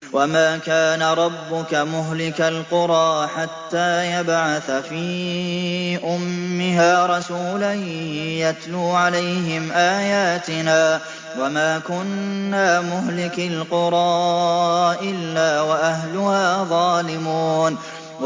وَمَا كَانَ رَبُّكَ مُهْلِكَ الْقُرَىٰ حَتَّىٰ يَبْعَثَ فِي أُمِّهَا رَسُولًا يَتْلُو عَلَيْهِمْ آيَاتِنَا ۚ وَمَا كُنَّا مُهْلِكِي الْقُرَىٰ إِلَّا وَأَهْلُهَا ظَالِمُونَ